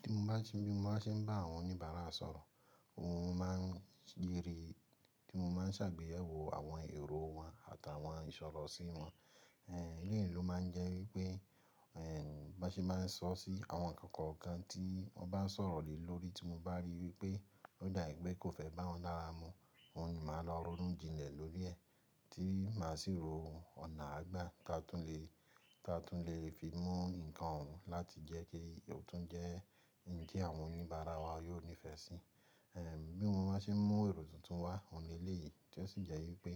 Ti mo bá ṣe ń bá àwọn oníbàárà sọ̀rọ̀, òun man béèrè tí mo man ṣàgbéyẹ̀wò àwọn èrò wọn àtàwọn ìṣọ̀rọ̀ sí wọn. Ehn, eleyi ló máa ń jẹ́ wípé, ehn, bá ṣe máa ń sọ sí àwọn ǹkan kọ̀ọ̀kan tí wọ́n bá ń sọ̀rọ̀ lè lórí tí mo bá rí wípé ó dàbí pé kò fẹ́ bá wọn dára mu, òun ni màá lọ rorún jinlẹ̀ lórí ẹ̀, tí màá sì ro ọ̀nà àgbà ta tún lè, ta tún lè fi mú ǹkan òun láti jẹ́ kí ó tún jẹ́ ǹjẹ́ àwọn oníbàárà wa yóò nífẹ̀ẹ́ sí. Ehn, bí mo bá ṣe ń mú èrò tuntun wá, òun léyìí tí ó sì jẹ́ wípé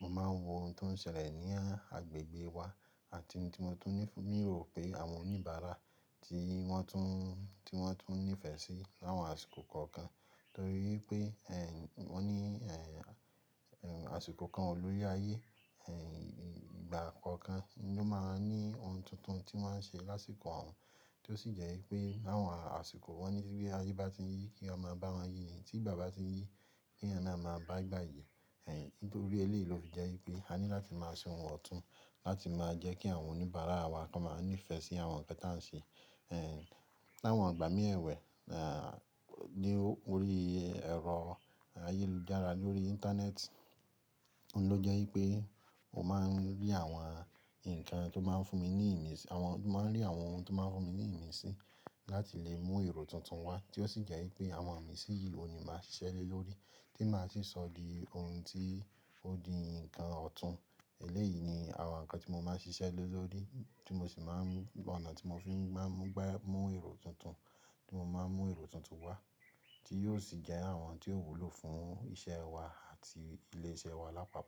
mo máa ń wo ohun tó ń ṣẹlẹ̀ ní agbègbè wa àti ohun tí mo tún ní, mo rò pé àwọn oníbàárà tí wọ́n tún, tí wọ́n tún nífẹ̀ẹ́ sí láwọn àsìkò kọ̀ọ̀kan. Nítorí pé, ehn, wọ́n ní, ehn, àsìkò kan olórí ayé, ehn, ìgbà kọ̀ọ̀kan ni ó máa ń ní ohun tuntun tí wọ́n ṣe lásìkò òun, tí ó sì jẹ́ wípé láwọn àsìkò wọ́n ní wípé ayé bá ti yí kí ọmọ bá wọ́n yi ni tí ìgbà bá ti yí, níyẹn ni a máa bá ìgbà yí. Ehn, nítorí eléyìí ló fi jẹ́ wípé a ní láti máa ṣe ohun ọ̀tún láti máa jẹ́ kí àwọn oníbàárà wa kan máa ń nífẹ̀ẹ́ sí àwọn ǹkan tá ń ṣe. Ehn, láwọn ìgbà mí ẹ̀wẹ́, náà, lórí ẹ̀rọ ayélujára lórí íńtánẹ́ẹ̀tì, òun ló jẹ́ wípé mo máa ń rí àwọn ǹkan tó máa ń fún mi ní ìmísí, àwọn, mo máa ń rí àwọn ohun tó máa ń fún mi ní ìmísí láti lè mú èrò tuntun wá tí ó sì jẹ́ wípé àwọn ìmísí yìí òun ni màá ṣiṣẹ́ lé lórí tí màá sì sọ di ohun tí ó di ǹkan ọ̀tún. Eléyìí ni àwọn ǹkan tí mo máa ń ṣiṣẹ́ lé lórí tí mo sì máa ń, ọ̀nà tí mo fi máa ń gbé, mú èrò tuntun, tí mo máa ń mú èrò tuntun wá tí yóò sì jẹ́ àwọn tí ó wúlò fún iṣẹ́ wa àti ilé iṣẹ́ wa lápapọ̀